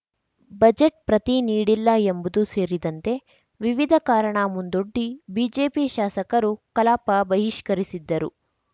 budget ಪ್ರತಿ ನೀಡಿಲ್ಲ ಎಂಬುದು ಸೇರಿದಂತೆ ವಿವಿಧ ಕಾರಣ ಮುಂದೊಡ್ಡಿ ಬಿಜೆಪಿ ಶಾಸಕರು ಕಲಾಪ ಬಹಿಷ್ಕರಿಸಿದ್ದರು